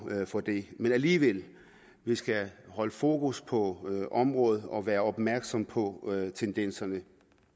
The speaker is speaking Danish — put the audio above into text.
for det men alligevel skal vi holde fokus på området og være opmærksomme på tendenserne